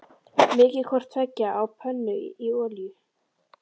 Mýkið hvort tveggja á pönnu í olíu.